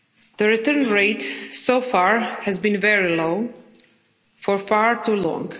The return rate so far has been a very low, for far too long.